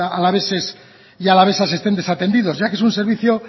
alaveses y alavesas estén desatendidos ya que es un servicio